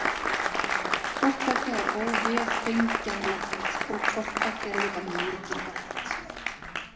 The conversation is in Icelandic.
Hvort tveggja er óvéfengjanlegt og hvort tveggja er líka mikilvægt.